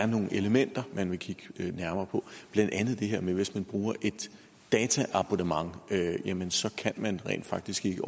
nogle elementer man ville kigge lidt nærmere på blandt andet det her med at hvis man bruger et dataabonnement jamen så kan man rent faktisk ikke